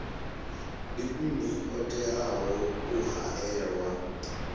ndi nnyi o teaho u haelwa